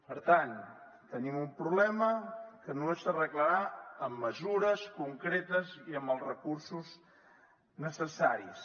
per tant tenim un problema que només s’arreglarà amb mesures concretes i amb els recursos necessaris